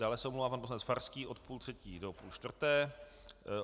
Dále se omlouvá pan poslanec Farský od půl třetí do půl čtvrté.